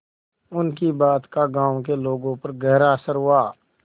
उनकी बात का गांव के लोगों पर गहरा असर हुआ